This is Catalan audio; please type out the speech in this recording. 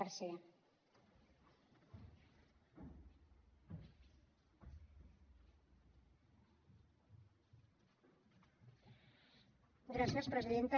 gràcies presidenta